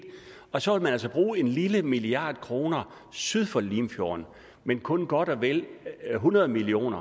og så vil man også bruge en lille milliard kroner syd for limfjorden men kun godt og vel hundrede million